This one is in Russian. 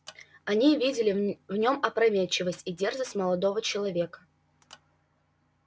они видели в нём опрометчивость и дерзость молодого человека